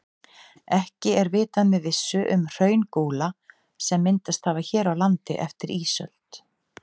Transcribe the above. Ekki er vitað með vissu um hraungúla sem myndast hafa hér á landi eftir ísöld.